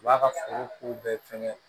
U b'a ka foro ko bɛɛ fɛngɛ